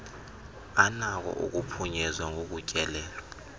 anako ukuphunyezwa ngokutyelelwa